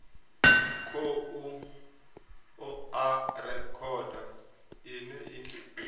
khou oa rekhodo ine i